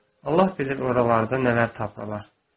Allah bilir oralarda nələr tapırlar.